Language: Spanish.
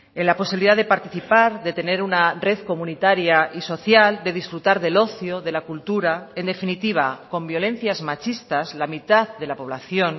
en la posibilidad de participar de tener una red comunitaria y social de disfrutar del ocio de la cultura en definitiva con violencias machistas la mitad de la población